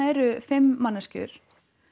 eru fimm manneskjur